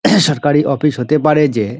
সরকারি অফিস হতে পারে যে--